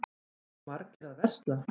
Eru margir að versla?